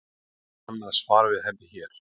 Sjá annað svar við henni hér.